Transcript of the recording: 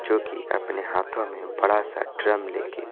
जो कि अपने हाथों में बड़ा सा ड्रम लेके--